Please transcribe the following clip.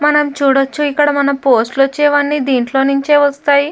మనం చూడచ్చు ఇక్కడ మన పోస్ట్ లు వచ్చేవన్ని దీంట్లో నించే వస్తాయి.